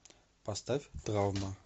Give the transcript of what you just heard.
поставь травма